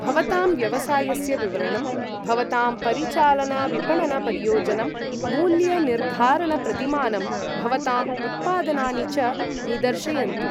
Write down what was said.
भवतां व्यवसायस्य विवरणं, भवतांपरिचालनविपणनपरियोजनं, मूल्यनिर्धारणप्रतिमानं, भवताम् उत्पादनानि च निदर्शयन्तु।